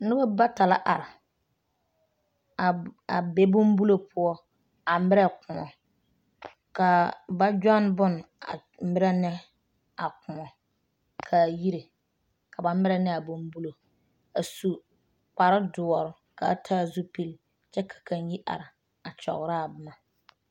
Noba bata la are a a be bonbulo poɔ a merɛ koɔ ka ba gyɔne bone a merɛ ne a koɔ k,a yire ka ba merɛ ne a bonbulo a su kparedoɔre k,a taa zupili kyɛ ka kaŋ yi are a kyɔgerɔ a boma.